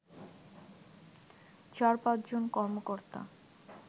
চার-পাঁচ জন কর্মকর্তা